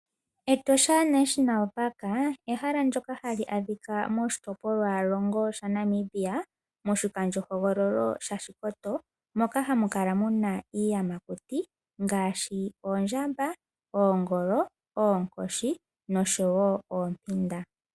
Etosha National Park ehala ndjoka hali adhika moshitopolwa longo shaNamibia moshikandjohogololo shashikoto, moka hamu kala muna iiyamakuti ngaashi oondjamba, oongolo, oonkoshi, nosho woo oompinda.